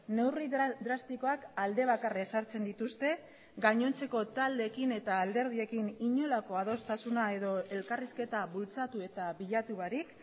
neurri drastikoak alde bakarra ezartzen dituzte gainontzeko taldeekin eta alderdiekin inolako adostasuna edo elkarrizketa bultzatu eta bilatu barik